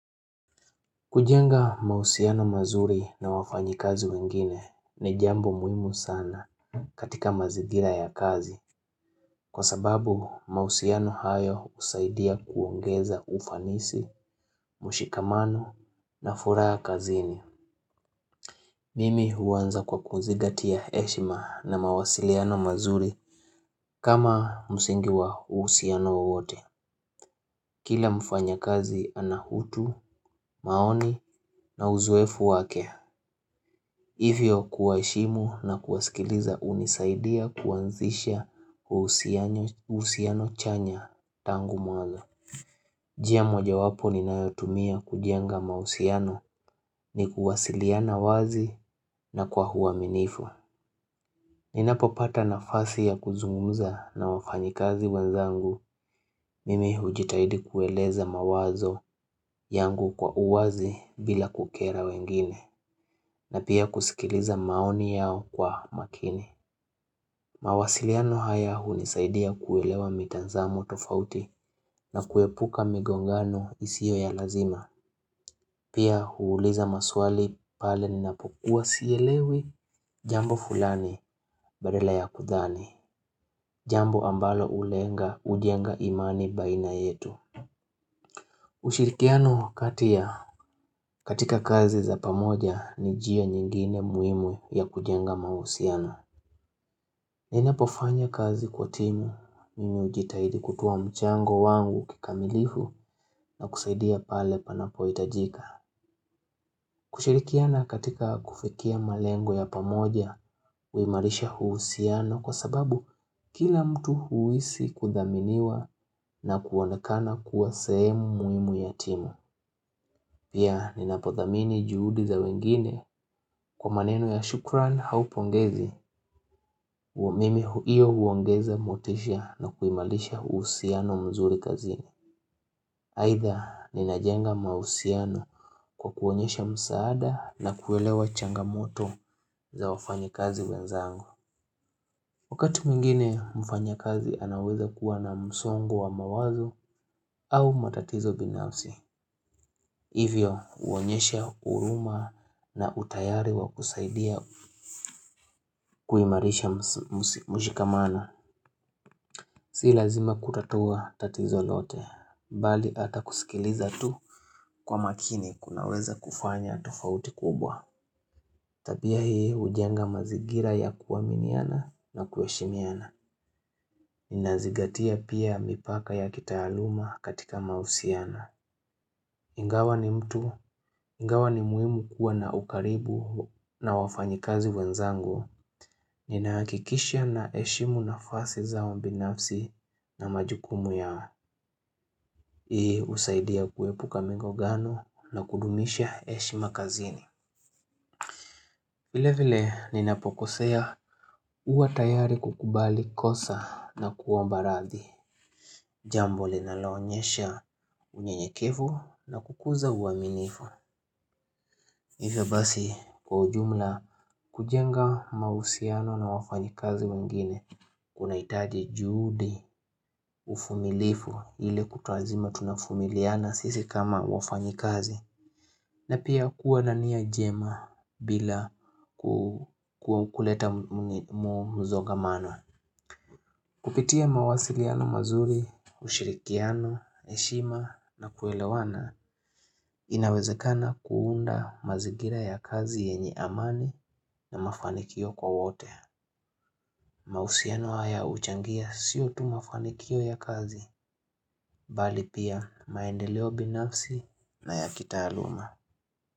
Kujenga mahusiano mazuri na wafanyikazi wengine ni jambo muhimu sana katika mazingira ya kazi, kwa sababu mahusiano hayo husaidia kuongeza ufanisi, mushikamano na furaha kazini. Mimi huanza kwa kuzingatia heshima na mawasiliano mazuri kama msingi wa uhusiano wowote. Kila mfanyakazi ana hutu, maoni na uzoefu wake. Hivyo kuwaheshimu na kuwasikiliza hunisaidia kuanzisha uhusiano chanya tangu mwanzo. Jia moja wapo ninayotumia kujenga mahusiano ni kuwasiliana wazi na kwa huaminifu. Ninapo pata nafasi ya kuzungumza na wafanyikazi wenzangu mimi hujitahidi kueleza mawazo yangu kwa uwazi bila kukera wengine na pia kusikiliza maoni yao kwa makini. Mawasiliano haya hunisaidia kuelewa mitazamo tofauti na kuepuka migongano isiyo ya lazima. Pia huuliza maswali pale ninapokuwa sielewi jambo fulani badala ya kudhani. Jambo ambalo ulenga hujenga imani baina yetu. Ushirikiano kati ya katika kazi za pamoja ni jia nyingine muhimu ya kujenga mahusiano. Ninapofanya kazi kwa timu mimi hujitahidi kutuwa mchango wangu kikamilifu na kusaidia pale panapo hitajika. Kushirikiana katika kufikia malengo ya pamoja huimarisha huusiano kwa sababu kila mtu huisi kudhaminiwa na kuonekana kuwa sehemu muhimu ya timu. Pia ninapothamini juhudi za wengine kwa maneno ya shukran hau pongezi mimi hiyo huongeza motisha na kuimalisha huusiano mzuri kazini. Haitha ninajenga mausiano kwa kuonyesha msaada na kuelewa changamoto za wafanya kazi wenzangu. Wakati mwingine mfanyakazi anaweza kuwa na msongo wa mawazo au matatizo binafsi. Hivyo huonyesha huruma na utayari wa kusaidia kuimarisha mshikamana. Si lazima kutatua tatizo lote, bali hata kusikiliza tu kwa makini kunaweza kufanya tufauti kubwa Tabia hii hujenga mazigira ya kuaminiana na kuheshimiana Nina zingatia pia mipaka ya kitaaluma katika mahusiano Ingawa ni mtu, ingawa ni muhimu kuwa na ukaribu na wafanyikazi wenzangu Ninaakikishia na eshimu na fasi zao mbinafsi na majukumu yao hii usaidia kuepu ka mingo gano na kudumisha eshi makazini vile vile ninapokosea uwa tayari kukubali kosa na kuwa mbarathi Jambo linaloonyesha unye nyevu na kukuza uaminifu Hivyo basi kwa ujumla kujenga mausiano na wafanyi kazi wengine Kuna itaji juhudi ufumilifu ili kutwazima tunafumiliana sisi kama wafanyi kazi na pia kuwa nania jema bila kukuleta mzoga mano. Kupitia mawasiliano mazuri, ushirikiano, eshima na kuelewana, inawezekana kuunda mazigira ya kazi yenye amani na mafanikio kwa wote. Mausiano haya uchangia sio tu mafanikio ya kazi, bali pia maendeleo binafsi na ya kita aluma.